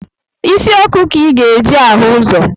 Isi ọkụ ka ị ga-eji ahụ ụzọ